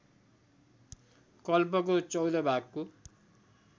कल्पको १४ भागको